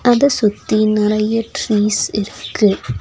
அத சுத்தி நெறையா ட்ரீஸ் இருக்கு.